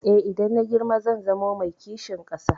Eh, idan na girma zan zamo mai kishin ƙasa.